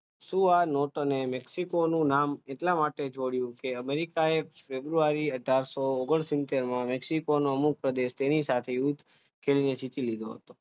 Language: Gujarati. તને મેક્સિકોનું નામ એટલા માટે જોયુ છે તેને અમેરિકાની ફેબ્રુઆરી અથારસો અગ્નાસિતેર માં મેક્સિકોનો મુખ પ્રદેશ તેની સાથે હતો ચીનને જીતી લીધો હતો